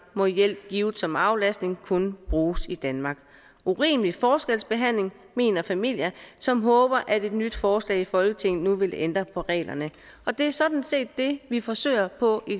må hjælp givet som aflastning kun bruges i danmark urimelig forskelsbehandling mener familie som håber at et nyt forslag i folketinget nu vil ændre på reglerne det er sådan set det vi forsøger på i